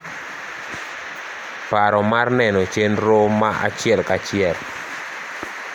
paro mar neno chenro ma achiel ka achiel